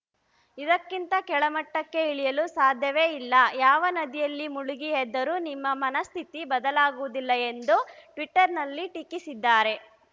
ಇದಕ್ಕಿಂತ ಕೆಳಮಟ್ಟಕ್ಕೆ ಇಳಿಯಲು ಸಾಧ್ಯವೇ ಇಲ್ಲ ಯಾವ ನದಿಯಲ್ಲಿ ಮುಳುಗಿ ಎದ್ದರೂ ನಿಮ್ಮ ಮನಸ್ಥಿತಿ ಬದಲಾಗುವುದಿಲ್ಲ ಎಂದು ಟ್ವೀಟರ್‌ನಲ್ಲಿ ಟೀಕಿಸಿದ್ದಾರೆ